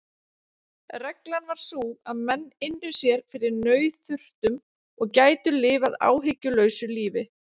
Reglan var sú að menn ynnu sér fyrir nauðþurftum og gætu lifað áhyggjulausu lífi.